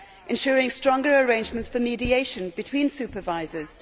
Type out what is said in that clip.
ensuring stronger arrangements for mediation between supervisors